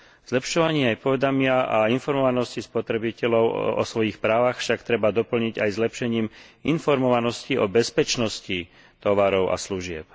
Zlepšovanie aj povedomia a informovanosti spotrebiteľov o svojich právach však treba doplniť aj zlepšením informovanosti o bezpečnosti tovarov a služieb.